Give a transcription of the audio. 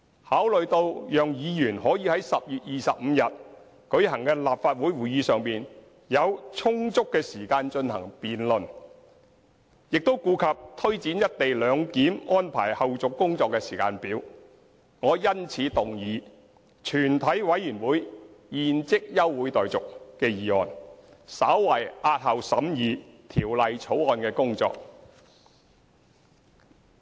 考慮到讓議員可於10月25日舉行的立法會會議上有充足時間進行辯論，亦顧及推展"一地兩檢"安排後續工作的時間表，我因此動議"全體委員會現即休會待續"的議案，稍為押後審議《條例草案》的工作。